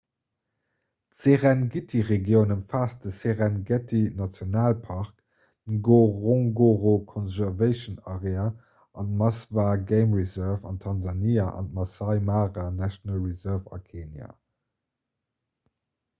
d'serengeti-regioun ëmfaasst de serengeti-nationalpark d'ngorongoro conservation area an d'maswa game reserve an tansania an d'maasai mara national reserve a kenia